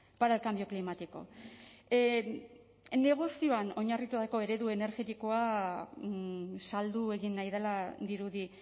para el cambio climático negozioan oinarritutako eredu energetikoa saldu egin nahi dela dirudi